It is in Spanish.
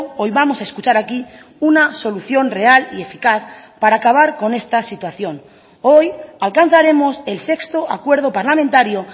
hoy vamos a escuchar aquí una solución real y eficaz para acabar con esta situación hoy alcanzaremos el sexto acuerdo parlamentario